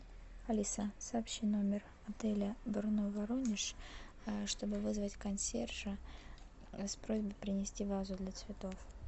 алиса сообщи номер отеля брно воронеж чтобы вызвать консьержа с просьбой принести вазу для цветов